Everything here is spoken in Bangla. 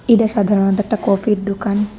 এটা সাধারণত একটা কফি -এর দোকান।